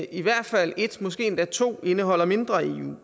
i hvert fald et måske endda to indeholder mindre eu